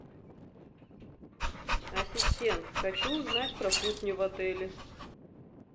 ассистент хочу узнать про кухню в отеле